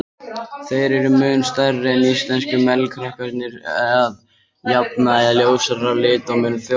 Þeir eru mun stærri en íslensku melrakkarnir, að jafnaði ljósari á lit og mun frjósamari.